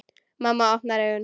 Mamma opnar augun.